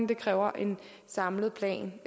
det kræver en samlet plan